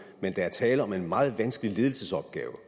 men der er tale om en meget vanskelig ledelsesopgave